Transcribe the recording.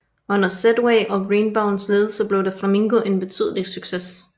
Under Sedway og Greenbaums ledelse blev The Flamingo en betydelig succes